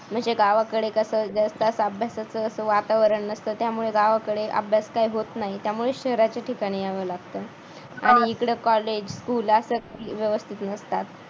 म्हणजे गावाकडे कसं जसजसा अभ्यास तसं कसं वातावरण असतं त्यामुळे गावाकडे अभ्यास काही होत नाही त्यामुळे शहराच्या ठिकाणी यावं लागतं. आणि इकड college school असं व्यवस्थित नसतात.